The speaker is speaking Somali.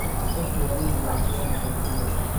Dadku waa inay ilaashadaan aqoonsigooda.